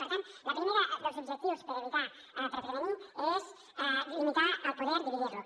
per tant el primer dels objectius per evitar per prevenir és limitar el poder dividir lo